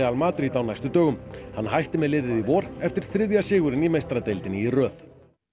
Madrid á næstu dögum hann hætti með liðið í vor eftir þriðja sigurinn í meistaradeildinni í röð